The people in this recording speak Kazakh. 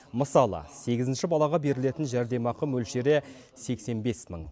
мысалы сегізінші балаға берілетін жәрдемақы мөлшері сексен бес мың